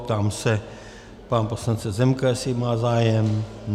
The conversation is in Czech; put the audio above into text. Ptám se pana poslance Zemka, jestli má zájem.